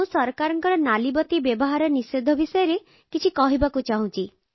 ମୁଁ ସରକାରଙ୍କ ନାଲିବତୀ ବ୍ୟବହାର ନିଷେଧ ବିଷୟରେ କିଛି କହିବାକୁ ଚାହୁଁଛି